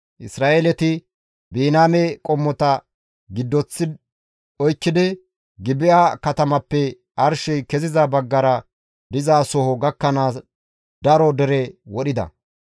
Isra7eele asay Biniyaame qommota giddoththi oykkidi Gibi7a katamappe arshey keziza baggara dizasoho gakkanaas daro dere wodhida.